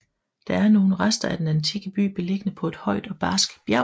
Der er nogle rester af den antikke by beliggende på et højt og barskt bjerg